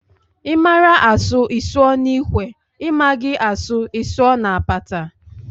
Ị mara asụ, ị sụọ n'ikwe, ị maghị a sụọ ị sụọ na apata